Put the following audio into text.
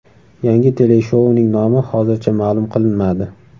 Yangi teleshouning nomi hozircha ma’lum qilinmadi.